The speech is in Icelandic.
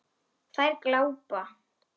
Þær glápa.